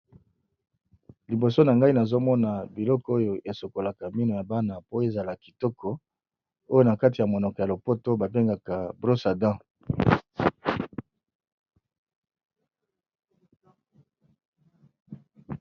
Liboso na nga nazomona biloko oyo esokolaka mino ya bana oyo na monoko ya lopoto ba bengaka brosse à dents.